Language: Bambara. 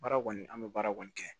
Baara kɔni an bɛ baara kɔni kɛ